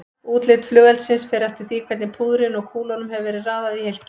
Útlit flugeldsins fer eftir því hvernig púðrinu og kúlunum hefur verið raðað í hylkið.